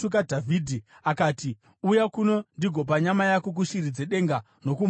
Akati, “Uya kuno ndigopa nyama yako kushiri dzedenga nokumhuka dzesango!”